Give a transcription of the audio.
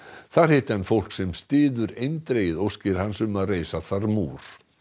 þar hitti hann fólk sem styður eindregið óskir hans um að reisa þar múr